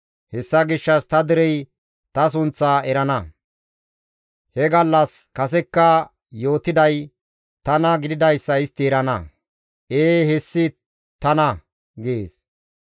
Hessa gishshas ta derey ta sunththaa erana; he gallas kasekka yootiday tana gididayssa istti erana. Ee hessi tana» gees.